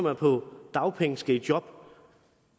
er på dagpenge skal i job